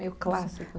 Meio clássico.